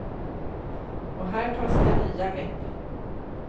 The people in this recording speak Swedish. Och här tas det nya grepp.